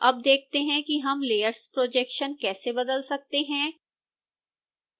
अब देखते हैं कि हम layers projection कैसे बदल सकते हैं